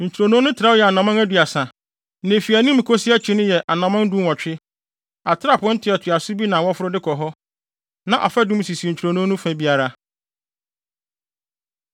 Ntwironoo no trɛw yɛ anammɔn aduasa, na efi anim kosi akyi no yɛ anammɔn dunwɔtwe. Atrapoe ntoatoaso bi na wɔforo de kɔ hɔ. Na afadum sisi ntwironoo no fa biara.